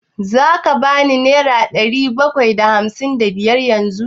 Za ka ban nera ɗari bakwai da ashirin da biyar yanzu?